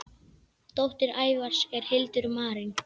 Dóttir Ævars er Hildur Marín.